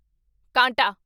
ਕਾਂਟਾ